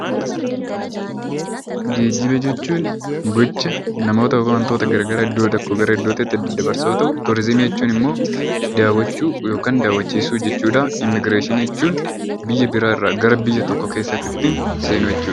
Geejjiba jechuun gocha namoota yookaan wantoota gara garaa gara iddoo tokkooti gara iddootti daddabarsu yommuu ta'u; Turiizimii jechuun immoo daawwachuu, yookaan daawwachiisuu jechuu dha. Immigireeshinii jechuun biyya biraa irraa gara biyya tokko keessatti ittiin seenu jechuu dha.